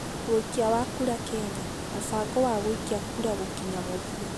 Wikia wa kura Kenya: Mũvango wa gũikia kura gĩkinya mũthia